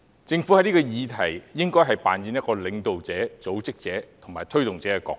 在這議題上，政府應扮演領導者、組織者及推動者的角色。